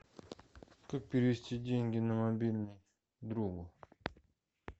как перевести деньги на мобильный другу